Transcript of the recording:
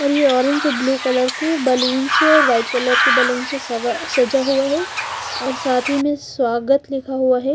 और ये ऑरेंज और ब्लू कलर की बलून्स हैं और व्हाईट कलर की से सजा हुआ हैं और साथ ही में स्वागत लिखा हुआ हैं --